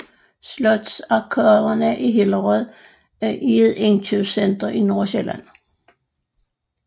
Slotsarkaderne i Hillerød er et indkøbscenter i Nordsjælland